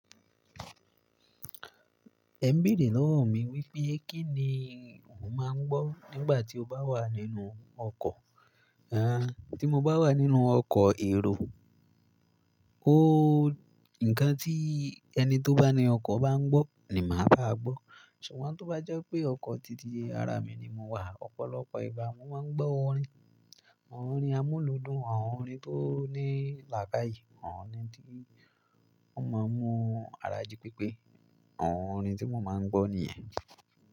Ẹ ń bèèrè lọ́wọ́ mi wípé kí ni mo máa ń gbọ́ nígbà tí o bá wà nínú ọkọ̀? Àń, tí mo bá wà nínú ọkọ̀ èrò, óò, ǹkan tí ẹni tó bá ní ọkọ̀ bá ń gbọ́ ni màá ba á gbọ́. Ṣùgbọ́n tó bá jẹ́ pé ọkọ̀ tìtì ara mi ni mo wà, ọ̀pọ̀lọpọ̀ ìgná, mo máa ń gbọ́ orin. Àwọn orin amúlùúdùn, àwọn orin tó ní làákàyè, àwọn orin tí wọ́n máa ń mú ara jí pípé. Àwọn orin tí mo máa ń gbọ́ nìyẹn.